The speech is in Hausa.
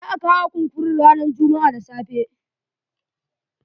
Za a kawo kunkurun ranan jummu'a da safe.